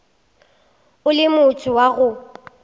o le motho wa go